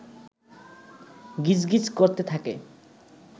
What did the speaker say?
গিজ গিজ করতে থাকে